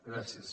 gràcies